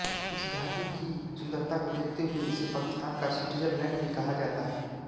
इस घाटी की सुन्दरता को देखते हुए इसे पाकिस्तान का स्विटजरलैण्ड भी कहा जाता है